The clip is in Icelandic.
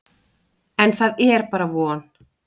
En það er bara von.